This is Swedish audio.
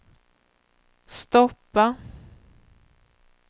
stoppa